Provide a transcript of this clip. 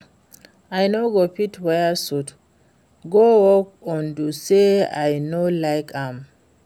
I no go fit wear suit go work unto say I no like am